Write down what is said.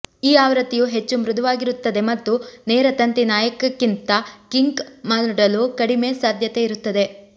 ಈ ಆವೃತ್ತಿಯು ಹೆಚ್ಚು ಮೃದುವಾಗಿರುತ್ತದೆ ಮತ್ತು ನೇರ ತಂತಿ ನಾಯಕಕ್ಕಿಂತ ಕಿಂಕ್ ಮಾಡಲು ಕಡಿಮೆ ಸಾಧ್ಯತೆ ಇರುತ್ತದೆ